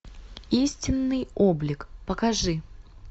истинный облик покажи